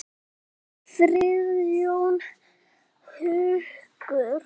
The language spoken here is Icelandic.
Nú kemur hér lítil saga.